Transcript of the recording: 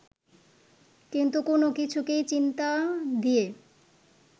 কিন্তু কোন কিছুকেই চিন্তা দিয়ে